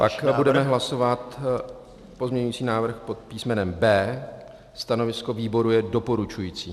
Pak budeme hlasovat pozměňovací návrh pod písmenem B. Stanovisko výboru je doporučující.